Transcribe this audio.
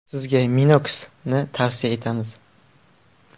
Sizga Minox ’ni tavsiya etamiz!